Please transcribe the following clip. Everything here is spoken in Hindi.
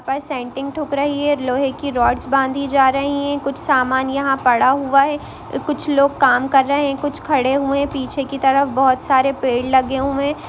पर सेंटिंग ठुक रही है लोहे की रॉड्स बांधी जा रही है कुछ समान यहाँ पड़ा हुआ है कुछ लोग काम कर रहे हैं कुछ खड़े हुए हैं पीछे की तरफ बहोत सारे पेड़ लगे हुए हैं ।